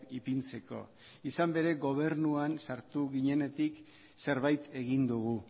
ipintzeko izan ere gobernuan sartu ginenetik zerbait egin dugu